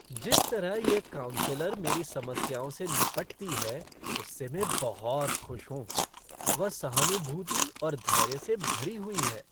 जिस तरह से यह काउंसलर मेरी समस्याओं से निपटती है उससे मैं बहुत खुश हूँ। वह सहानुभूति और धैर्य से भरी हुई है।